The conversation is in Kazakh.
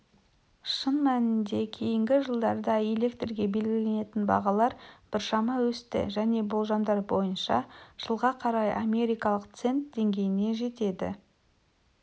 шын мәнінде кейінгі жылдарда электрге белгіленетін бағалар біршама өсті және болжамдар бойынша жылға қарай америкалық цент деңгейіне жетеді